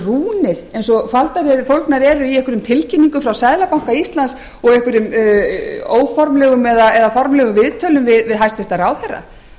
rúnir eins og faldar eru í einhverjum tilkynningum frá seðlabanka íslands og einhverjum óformlegum eða formlegum viðtölum við hæstvirtan ráðherra